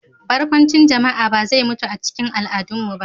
Barkwancin jama'a ba zai mutu a cikin al'adunmu ba.